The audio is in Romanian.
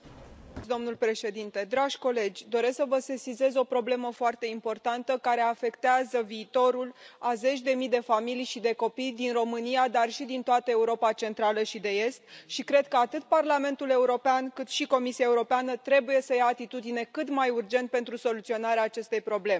Domnule președinte, dragi colegi, doresc să vă sesizez o problemă foarte importantă, care afectează viitorul a zeci de mii de familii și de copii din România, dar și din toată Europa Centrală și de Est și cred că atât Parlamentul European, cât și Comisia Europeană trebuie să ia atitudine cât mai urgent pentru soluționarea acestei probleme.